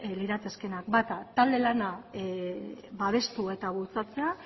liratekeenak bata talde lana babestu eta bultzatzea